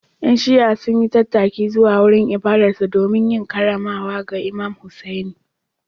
‘Yan Shi’a sun yi tattaki zuwa wurin ibadarsu domin yin karramawa ga Imam Hussaini.